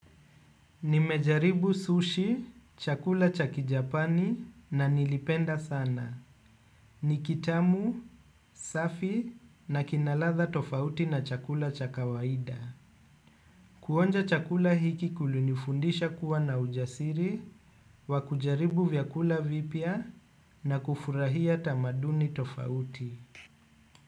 Nimejaribu sushi, chakula ch Kijapani na nilipenda sana. Ni kitamu, safi na kina ladha tofauti na chakula cha kawaida. Kuonja chakula hiki kulinifundisha kuwa na ujasiri, wakujaribu vyakula vipya na kufurahia tamaduni tofauti.